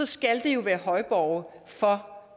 skal jo være højborge for